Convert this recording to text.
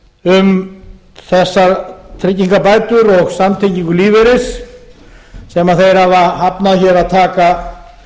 um þessar tryggingabætur og samtengingu lífeyris sem þeir hafa hafnað að taka